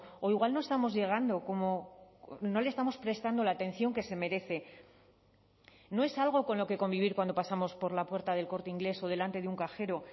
o igual no estamos llegando como no le estamos prestando la atención que se merece no es algo con lo que convivir cuando pasamos por la puerta de el corte inglés o delante de un cajero